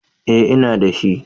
Eh, ina da shi